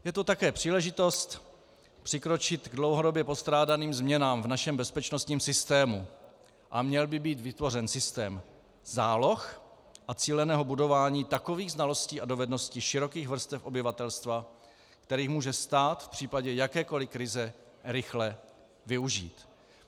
Je to také příležitost přikročit k dlouhodobě postrádaným změnám v našem bezpečnostním systému a měl by být vytvořen systém záloh a cíleného budování takových znalostí a dovedností širokých vrstev obyvatelstva, který může stát v případě jakékoli krize rychle využít.